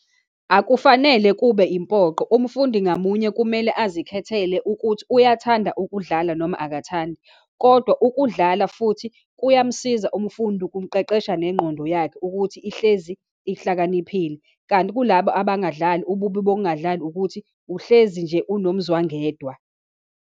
Akufanele kube impoqo, umfundi ngamunye kumele azikhethele ukuthi uyathanda ukudlala, noma akathandi. Kodwa ukudlala futhi kuyamsiza umfundi, kumqeqesha nengqondo yakhe, ukuthi ihlezi ihlakaniphile. Kanti kulaba abangadlali, ububi bokungadlali ukuthi uhlezi nje unomzwangedwa.